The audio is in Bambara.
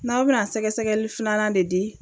N'aw bɛna sɛgɛsɛgɛli filanan de di